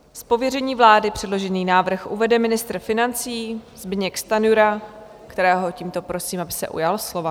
Z pověření vlády předložený návrh uvede ministr financí Zbyněk Stanjura, kterého tímto prosím, aby se ujal slova.